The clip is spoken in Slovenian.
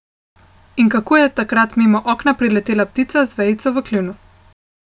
In kako je takrat mimo okna priletela ptica z vejico v kljunu.